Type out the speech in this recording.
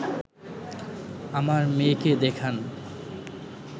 আমার মেয়েকে দেখান